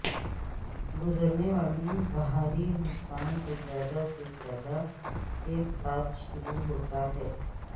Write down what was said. گزرنے والی بھاری نقصان کو زیادہ سے زیادہ کے ساتھ شروع ہوتا ہے